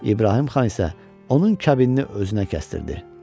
İbrahim xan isə onun kəbinini özünə kəstirdi.